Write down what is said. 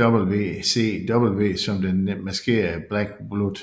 WCW som den maskerede Black Blood